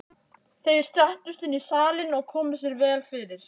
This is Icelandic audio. Þeir settust inn í salinn og komu sér vel fyrir.